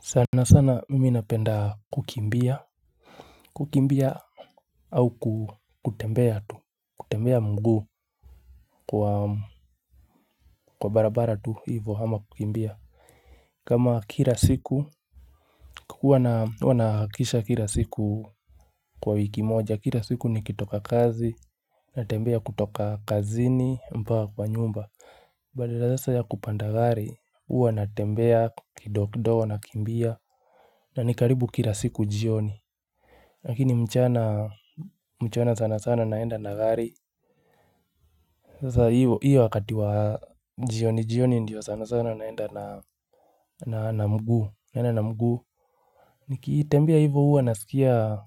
Sana sana mimi napenda kukimbia kukimbia au kutembea tu kutembea mguu kwa barabara tu ivo ama kukimbia kama kila siku huwa na nahakisha kila siku kwa wiki moja kila siku nikitoka kazi natembea kutoka kazini mpaka kwa nyumba badala sasa ya kupanda gari hua natembea kidogo kidogo nakimbia na ni karibu kila siku jioni. Lakini mchana sana sana naenda na gari. Sasa hiyo wakati wa jioni jioni ndiyo sana sana naenda na mguu. Nikitembea hivyo huwa nasikia